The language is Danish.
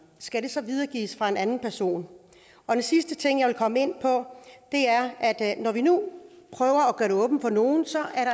skal det så videregives af en anden person den sidste ting jeg vil komme ind på er at når vi nu prøver at gøre det åbent for nogle